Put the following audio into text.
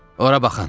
Ora baxın!